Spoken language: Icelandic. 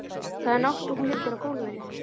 Það er nótt og hún liggur á gólfinu.